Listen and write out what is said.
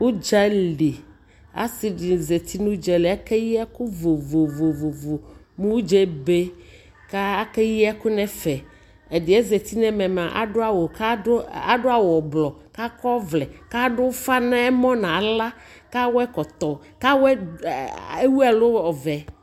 ʋdzali, asii dini zati nʋ ʋdzali, akɛyi ɛkʋ vɔvɔvɔ mʋ ʋdzaɛ ɛbɛ kʋ akɛyi ɛkʋ nʋ ɛƒɛ, ɛdiɛ ɛzati nʋɛmɛ mʋa adʋ awʋ kʋ adʋ awʋ blɔ kʋ akɔ ɔvlɛ kʋ adʋ ʋƒa nʋ ɛmɔ nʋ ala kʋ adʋ ɛkɔtɔ kʋ ɛwʋ ɛlʋ ɔvɛ